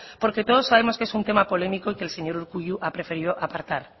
porque todos sabemos que es un tema polémico y que el señor urkullu ha preferido apartar